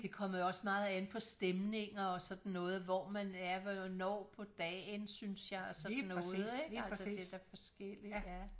Det kommer jo også meget an på stemninger og sådan noget hvor man er og hvornår på dagen synes jeg og sådan noget ikke altså det da forskelligt ja